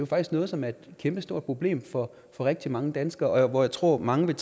faktisk noget som er et kæmpestort problem for rigtig mange danskere og jeg tror at mange vil